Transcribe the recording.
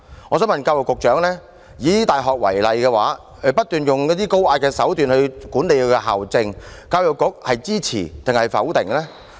我想問教育局局長，大學不斷以高壓手段管理校政，教育局是支持還是否定呢？